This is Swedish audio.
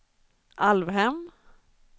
Alvhem